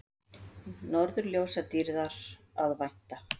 Norðurljósadýrðar að vænta